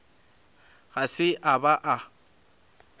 ga se a ba a